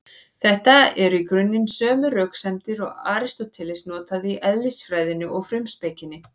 Þetta eru í grunninn sömu röksemdir og Aristóteles notaði í Eðlisfræðinni og Frumspekinni.